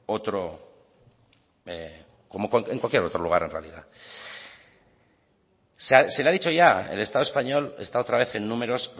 otro lugar en realidad se le ha dicho ya el estado español está otra vez en números